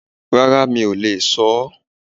Rárá mi ò lè sọ ọ́